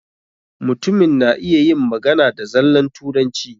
Mutumin na iya yin magana da zallan Turanci.